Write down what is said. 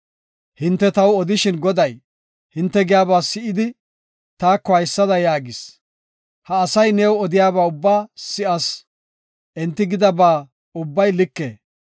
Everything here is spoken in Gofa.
Hinte taw odishin Goday, hinte giyaba si7idi, taako haysada yaagis; “Ha asay new odiyaba ubbaa si7as; enti gidaba ubbay like.